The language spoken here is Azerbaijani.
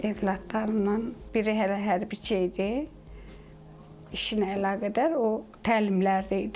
Övladlarımdan biri hələ hərbçi idi, işinə əlaqədar o təlimlərdə idi.